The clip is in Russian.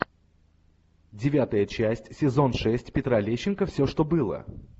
девятая часть сезон шесть петра лещенко все что было